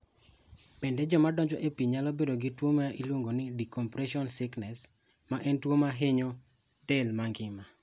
Bende, joma donjo e pi nyalo bedo gi tuwo miluongo ni decompression sickness, ma en tuwo ma hinyo del mangima.